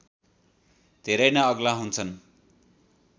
धेरै नै अग्ला हुन्छन्